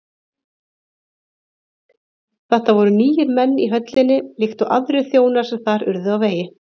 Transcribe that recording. Þetta voru nýir menn í höllinni líkt og aðrir þjónar sem þar urðu á vegi